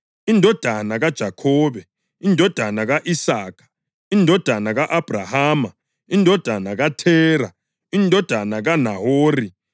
indodana kaJakhobe, indodana ka-Isaka, indodana ka-Abhrahama, indodana kaThera, indodana kaNahori,